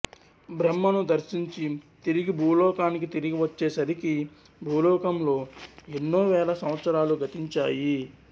బ్రహ్మను దర్శించి తిరిగి భూలోకానికి తిరిగి వచ్చే సరిగి భూలోకంలో ఎన్నో వేల సంవత్సరాలు గతించాయి